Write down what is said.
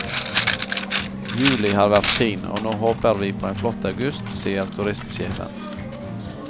Juli har vært fin, og nå håper vi på en flott august, sier turistsjefen.